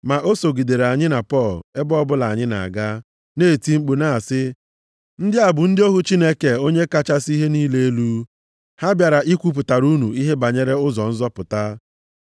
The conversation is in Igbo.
Ma o sogidere anyị na Pọl ebe ọbụla anyị na-aga, na-eti mkpu na-asị, “Ndị a bụ ndị ohu Chineke Onye kachasị ihe niile elu. Ha bịara ikwupụtara unu ihe banyere ụzọ nzọpụta.”